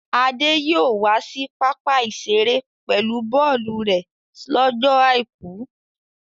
Adé yóò wá sí pápá-ìṣeré pẹ̀lú bọ́ọ́lù rẹ̀ slọ́jọ́ àìkú.